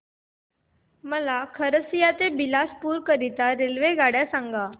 मला खरसिया ते बिलासपुर च्या आगगाड्या सांगा